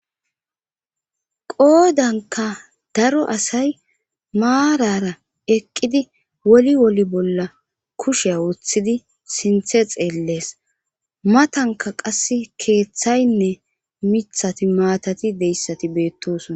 qoodanka daro asay maarara eqqidi woli woli bolla kushea woththidi sinthe xeellees matanka qass keeththaynne mithati maatati deyssati beettosona